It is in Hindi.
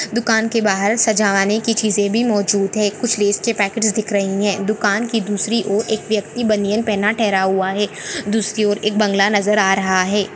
दुकान के बाहर सजाने की चिसे भी मौजूद है कुछ लेस के पॅकेट दिख रही है दुकान की दूसरी और एक व्यक्ति बनिया पेनहा ठेहरा है दूसरी और एक बंगला नजर आ रहा है।